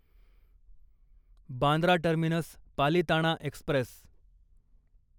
Bandra terminus Palitana Express